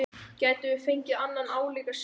Gætum við fengið annan álíka sigur?